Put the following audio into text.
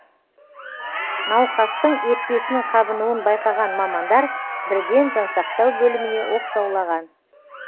науқастың өкпесінің қабынуын байқаған мамандар бірден жансақтау бөліміне оқшаулаған